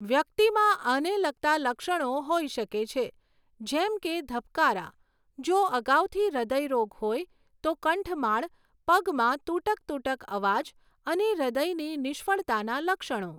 વ્યક્તિમાં આને લગતા લક્ષણો હોઈ શકે છે, જેમ કે ધબકારા, જો અગાઉથી હૃદય રોગ હોય તો કંઠમાળ, પગમાં તૂટક તૂટક અવાજ અને હૃદયની નિષ્ફળતાના લક્ષણો.